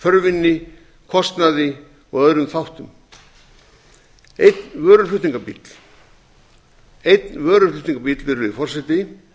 þörfinni kostnaði og öðrum þáttum einn vöruflutningabíll virðulegi forseti